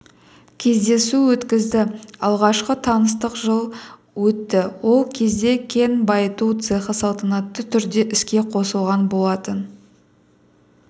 кездесу өткізді алғашқы таныстық жылы өтті ол кезде кен-байыту цехы салтанатты түрде іске қосылған болатын